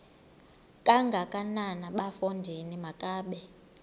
kangakanana bafondini makabe